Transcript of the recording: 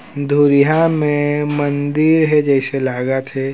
धुरिहा मे मंदिर हे जइसे लागा थे।